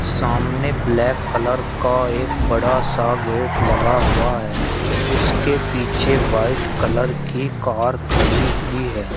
सामने black colour का एक बड़ा सा गेट लगा हुआ है उसके पीछे वाइट कलर की कार खड़ी हुई है।